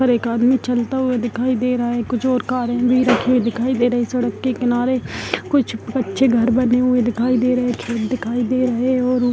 और एक आदमी चलता हुआ दिखाई दे रहा है कुछ और कारे भी दिखाई दे रही है सड़क के किनारे कुछ अच्छे घर बने हुए दिखाई दे रहे है खेत दिखाई दे रहे है और --